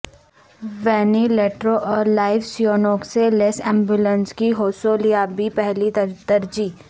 وینیلیٹروں اور life saving سے لیس ایمبولینس کی حوصولیابی پہلی ترجیح